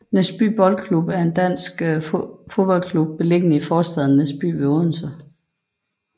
Næsby Boldklub er en dansk fodboldklub beliggende i forstaden Næsby ved Odense